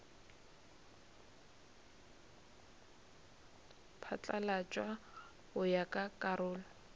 phatlalatšwa go ya ka karolo